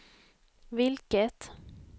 vilket